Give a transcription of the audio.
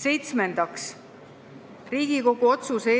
Seitsmendaks, Riigikogu otsuse